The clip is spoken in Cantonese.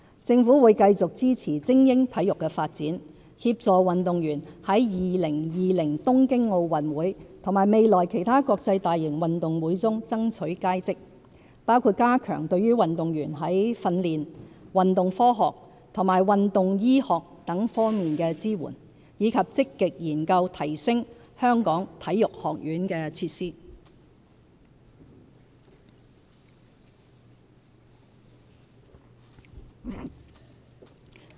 政府會繼續支持精英體育的發展，協助運動員在2020年東京奧運會和未來其他國際大型運動會中爭取佳績，包括加強對運動員在訓練、運動科學和運動醫學等多方面的支援，以及積極研究提升香港體育學院的設施。